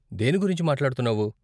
దేని గురించి మాట్లాడుతున్నావు?